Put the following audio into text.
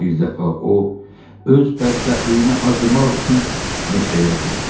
Birdəfə o öz bədbəxtliyinə acımaq üçün meşəyə getdi.